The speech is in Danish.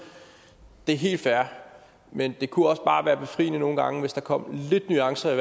det er helt fair men det kunne også bare være befriende nogle gange hvis der kom lidt nuancer i